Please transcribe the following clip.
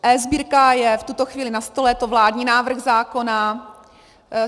eSbírka je v tuto chvíli na stole, je to vládní návrh zákona.